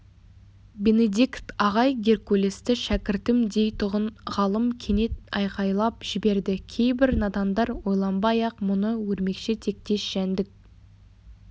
бенедикт ағай геркулесті шәкіртім дейтұғын ғалым кенет айқайлап жіберді кейбір надандар ойланбай-ақ мұны өрмекші тектес жәндік